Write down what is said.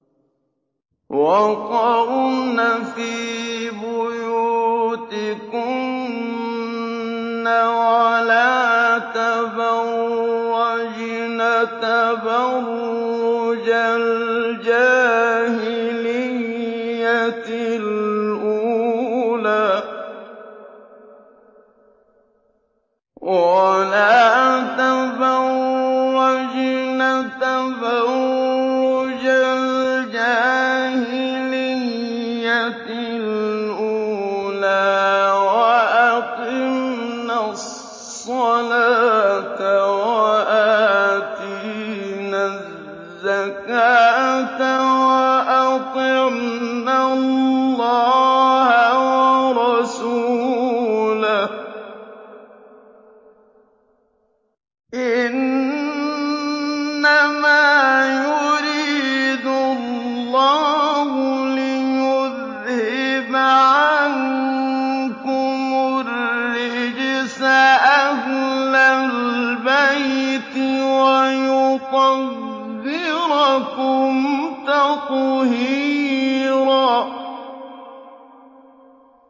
وَقَرْنَ فِي بُيُوتِكُنَّ وَلَا تَبَرَّجْنَ تَبَرُّجَ الْجَاهِلِيَّةِ الْأُولَىٰ ۖ وَأَقِمْنَ الصَّلَاةَ وَآتِينَ الزَّكَاةَ وَأَطِعْنَ اللَّهَ وَرَسُولَهُ ۚ إِنَّمَا يُرِيدُ اللَّهُ لِيُذْهِبَ عَنكُمُ الرِّجْسَ أَهْلَ الْبَيْتِ وَيُطَهِّرَكُمْ تَطْهِيرًا